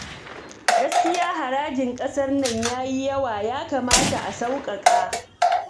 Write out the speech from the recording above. Gaskiya harajin ƙasar nan ya yi yawa ya kamata a saukaka